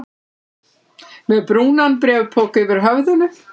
Með brúnan bréfpoka yfir höfðinu?